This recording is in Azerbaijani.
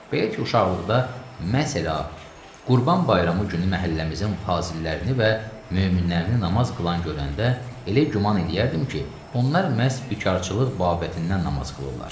Belə ki, uşaqlıqda məsələn, Qurban Bayramı günü məhəlləmizin fazillərini və möminlərini namaz qılan görəndə elə güman eləyərdim ki, onlar məhz bikarçılıq babətindən namaz qılırlar.